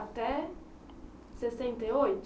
Até sessenta e oito?